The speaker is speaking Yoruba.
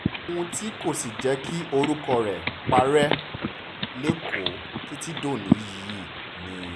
òun tí kò s ìjẹ́ kí orúkọ rẹ̀ parẹ́ lékòó títí dòní yìí ni